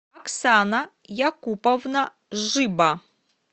оксана якуповна жиба